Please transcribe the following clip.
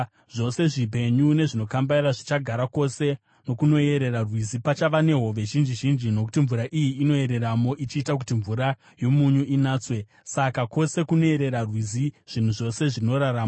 Zvose zvipenyu zvinokambaira zvichagara kwose nokunoyerera rwizi. Pachava nehove zhinji zhinji, nokuti mvura iyi inoyereramo ichiita kuti mvura yomunyu inatswe; saka kwose kunoyerera rwizi zvinhu zvose zvinorarama.